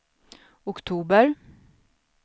oktober